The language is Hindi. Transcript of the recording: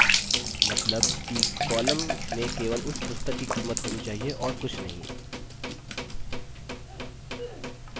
मतलब कि column में केवल उस पुस्तक की कीमत होनी चाहिए और कुछ नहीं